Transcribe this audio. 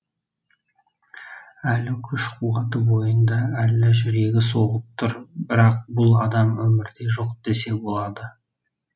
әлі күш қуаты бойында әлі жүрегі соғып тұр бірақ бұл адам өмірде жоқ десе болады